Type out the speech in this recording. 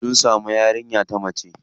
Sun samu yarinya ta mace.